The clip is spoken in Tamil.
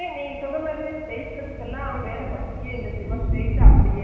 இப்போ எங்க அத்தை, அண்ணி ஒரு சுடிதார் தைச்சு இருக்காங்க notclear